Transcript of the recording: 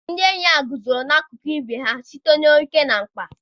Ndị enyi a guzoro n'akụkụ ibe ha site na oke na mkpa.